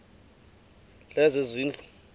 lezezindlu